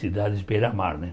Cidades beira-mar, né?